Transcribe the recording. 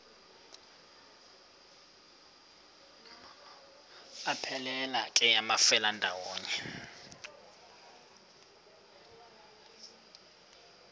aphelela ke amafelandawonye